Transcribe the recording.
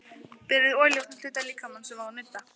Ólíver, viltu hoppa með mér?